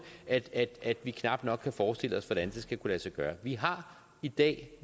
at at vi knap nok kan forestille os hvordan det skal kunne lade sig gøre vi har i dag